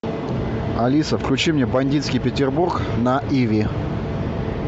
алиса включи мне бандитский петербург на иви